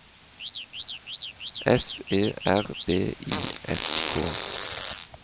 S E R B I S K